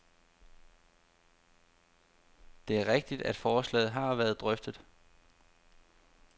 Det er rigtigt, at forslaget har været drøftet.